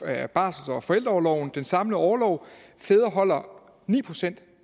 af barsels og forældreorloven den samlede orlov fædre holder ni procent